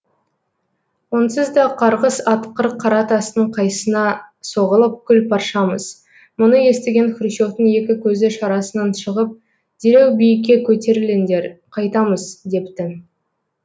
онсыз да қарғыс атқыр қара тастың қайсына соғылып күл паршамыз мұны естіген хрущевтің екі көзі шарасынан шығып дереу биікке көтеріліңдер қайтамыз депті